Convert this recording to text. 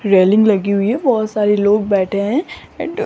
railing लगी हुई है बहोत सारे लोग बैठे हैं ऐड--